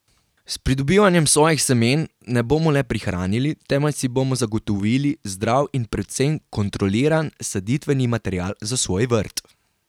S pridobivanjem svojih semen ne bomo le prihranili, temveč si bomo zagotovili zdrav in predvsem kontroliran saditveni material za svoj vrt.